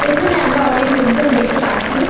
এখানে আমরা অনেক লোকজন দেখতে পাচ্ছি।